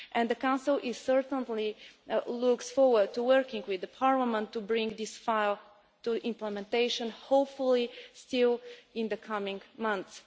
The Council certainly looks forward to working with the Parliament to bring this file to implementation, hopefully still in the coming months.